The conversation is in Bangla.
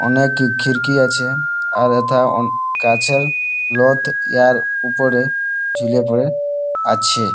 অনেক খিড়কি আছে। আর হেথা অনে গাছের লোত ইহার উপরে ঝুলেপড়ে আছে।